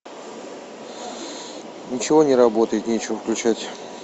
ничего не работает нечего включать